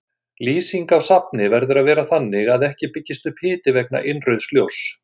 Lýsing á safni verður að vera þannig að ekki byggist upp hiti vegna innrauðs ljóss.